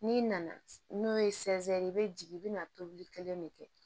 N'i nana n'o ye i bɛ jigin i bɛna tobili kelen de kɛ